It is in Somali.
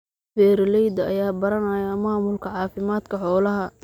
Beeralayda ayaa baranaya maamulka caafimaadka xoolaha.